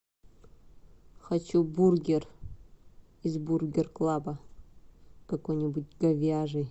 хочу бургер из бургер клаба какой нибудь говяжий